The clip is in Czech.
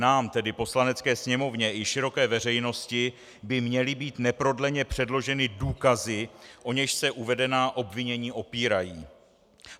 Nám, tedy Poslanecké sněmovně, i široké veřejnosti by měly být neprodleně předloženy důkazy, o něž se uvedená obvinění opírají.